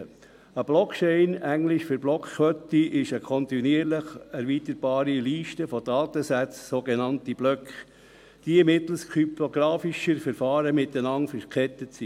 » Eine Blockchain, englisch für Blockkette, ist eine kontinuierlich erweiterbare Liste von Datensätzen, sogenannte Blöcke, die mittels kryptografischer Verfahren miteinander verkettet sind.